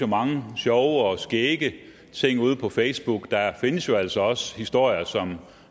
mange sjove og skægge ting ude på facebook der findes jo altså også historier som